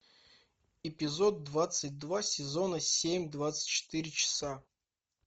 эпизод двадцать два сезона семь двадцать четыре часа